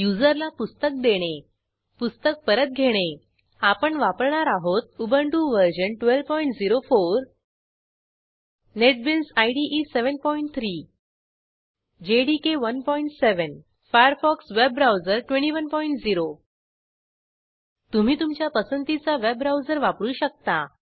युजरला पुस्तक देणे पुस्तक परत घेणे आपण वापरणार आहोत Ubuntu version 1204 NetBeans IDE 73 JDK 17 Firefox web browser 210 तुम्ही तुमच्या पसंतीचा वेब ब्राऊजर वापरू शकता